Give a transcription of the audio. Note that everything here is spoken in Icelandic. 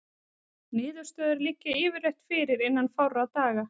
Niðurstöður liggja yfirleitt fyrir innan fárra daga.